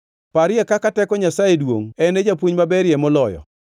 “Parie kaka teko Nyasaye duongʼ en e japuonj maberie moloyo?